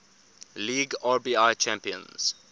league rbi champions